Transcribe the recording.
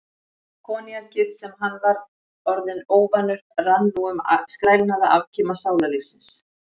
Koníakið, sem hann var orðinn óvanur, rann nú um skrælnaða afkima sálarlífsins.